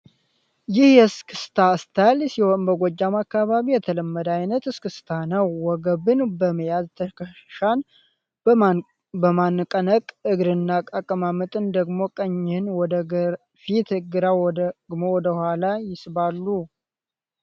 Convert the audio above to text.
ይህ የ እስክስታ ስልት ሲሆን በ ጎጃም አከባቢ የተለመደ አይነት እስክታ ስልት ነው። ወገብን በመያዝ ተከሻን በመነቅነቅ እግርና አቀማመጥ ደግሞ ቀኝህ ወደፊት ግራ ደግሞ ወደ ኋላ ይሳባሉ።